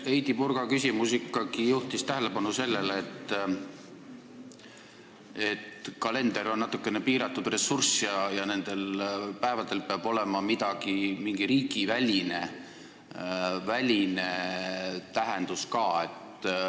Heidy Purga küsimus juhtis siiski tähelepanu sellele, et kalender on natukene piiratud ressurss ja tähistatavatel päevadel peab olema mingi riigiväline tähendus ka.